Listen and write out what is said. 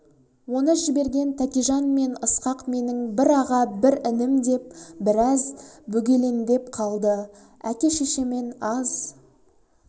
оны жіберген тәкежан мен ысқақ менің бір аға бір інім деп біраз бөгелендеп қалды әке-шешемен аз